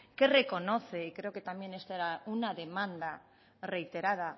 que reconoce y creo que también esta era una demanda reiterada